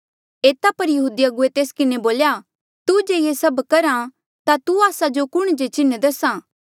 एता पर यहूदी अगुवे तेस किन्हें बोल्या तू जे ये सभ करहा ता तू आस्सा जो कुण जे चिन्ह दस्हा